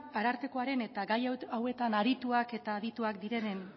arartekoaren eta gai hauetan arituak eta adituak direnen